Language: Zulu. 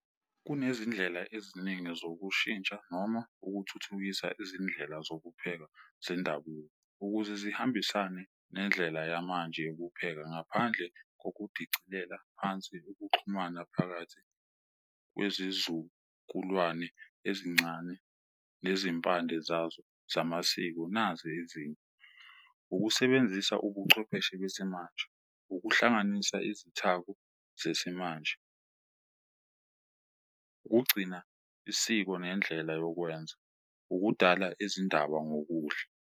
Kunezindlela eziningi zokushintsha noma ukuthuthukisa izindlela zokupheka zendabuko, ukuze zihambisane nendlela yamanje yokupheka ngaphandle nokudicilela phansi ukuxhumana phakathi kwezizukulwane ezincane nezimpande zazo zamasiko. Nazi ezinye ukusebenzisa ubuchwepheshe besimanje, ukuhlanganisa izithako zesimanje, ukugcina isiko nendlela yokwenza, ukudala izindaba ngokudla.